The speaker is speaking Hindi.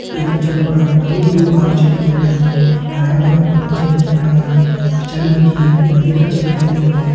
यख पिछाड़ी पर हर्युं बरयूं घास छ दिखेण लग्युं हरयां-भरयां पत्ता छन दिखेण लग्यां पिछाड़ी मा जी एक नदी कर छ दिखेण लगीं।